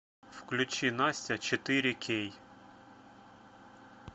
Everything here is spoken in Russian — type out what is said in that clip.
включи настя четыре кей